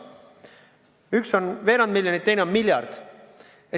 Üks maksab veerand miljonit, teine maksab miljardi.